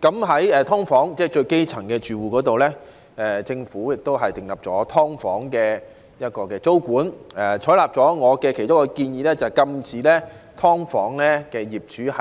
在"劏房"這種基層人士的住屋方面，政府就"劏房"訂立租金管制，並採納了我其中一項建議，禁止"劏房"業主"